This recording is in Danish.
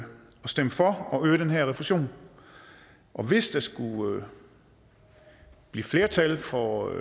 stemme for at øge den her refusion og hvis der skulle blive flertal for